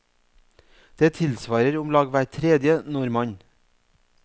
Det tilsvarer om lag hver tredje nordmann.